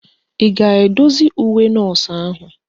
Ị ga-edozi uwe nọọsụ ahụ?